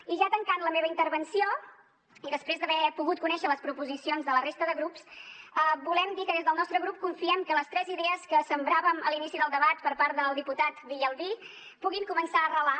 i ja tancant la meva intervenció i després d’haver pogut conèixer les proposicions de la resta de grups volem dir que des del nostre grup confiem que les tres idees que sembràvem a l’inici del debat per part del diputat villalbí puguin començar a arrelar